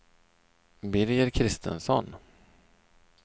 Birger Kristensson